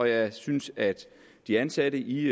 jeg synes at de ansatte i